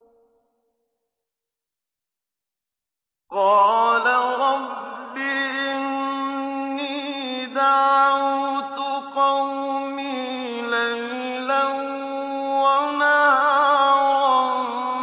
قَالَ رَبِّ إِنِّي دَعَوْتُ قَوْمِي لَيْلًا وَنَهَارًا